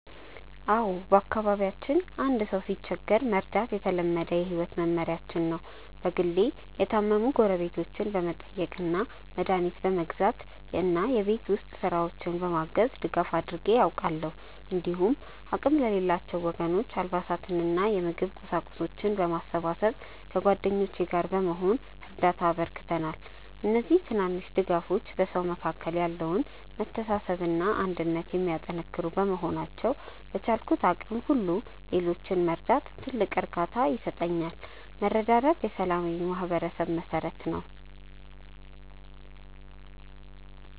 አዎ፣ በአካባቢያችን አንድ ሰው ሲቸገር መርዳት የተለመደ የህይወት መመሪያችን ነው። በግሌ የታመሙ ጎረቤቶችን በመጠየቅ፣ መድኃኒት በመግዛት እና የቤት ውስጥ ስራዎችን በማገዝ ድጋፍ አድርጌ አውቃለሁ። እንዲሁም አቅም ለሌላቸው ወገኖች አልባሳትንና የምግብ ቁሳቁሶችን በማሰባሰብ ከጓደኞቼ ጋር በመሆን እርዳታ አበርክተናል። እነዚህ ትናንሽ ድጋፎች በሰዎች መካከል ያለውን መተሳሰብና አንድነት የሚያጠናክሩ በመሆናቸው፣ በቻልኩት አቅም ሁሉ ሌሎችን መርዳት ትልቅ እርካታ ይሰጠኛል። መረዳዳት የሰላማዊ ማህበረሰብ መሠረት ነው።